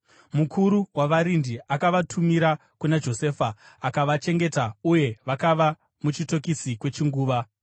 Mukuru wavarindi akavatumira kuna Josefa, akavachengeta uye vakava muchitokisi kwechinguva.